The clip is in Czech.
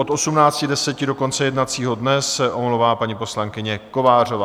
Od 18.10 do konce jednacího dne se omlouvá paní poslankyně Kovářová.